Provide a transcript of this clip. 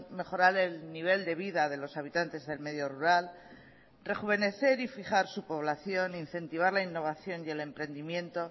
mejorar el nivel de vida de los habitantes del medio rural rejuvenecer y fijar su población e incentivar la innovación y el emprendimiento